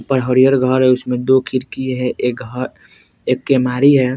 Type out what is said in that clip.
ऊपर हरिहर घर है जिसमें दो खिड़की है एक घर एक केमारी है।